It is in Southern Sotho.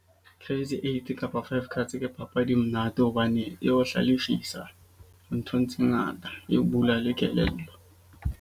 Crazy eight kapa five cards ke papadi e monate. Hobane e o hlalefisa nthong tse ngata, e bula le kelello.